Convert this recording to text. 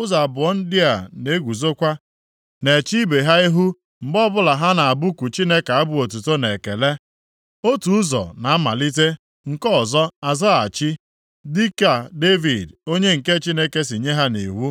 Ụzọ abụọ ndị a na-eguzokwa na-eche ibe ha ihu mgbe ọbụla ha na-abụku Chineke abụ otuto na ekele. Otu ụzọ na-amalite nke ọzọ azaghachi, dịka Devid onye nke Chineke si nye ya nʼiwu.